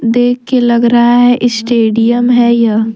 देख के लग रहा है स्टेडियम है यहां।